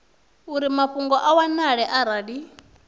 uri mafhungo a wanale arali